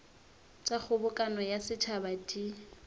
tša kgobokano ya setšhaba di